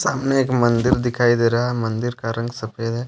सामने एक मंदिर दिखाई दे रहा है मंदिर का रंग सफेद है।